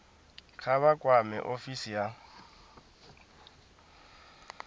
kha vha kwame ofisi ya